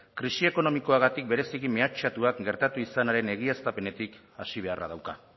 krisi ekonomikoagatik berezi mehatxatuak gertatu izanaren egiaztapenetik hasi beharra dauka